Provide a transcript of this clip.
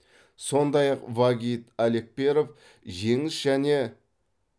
сондай ақ вагит алекперов жеңіс және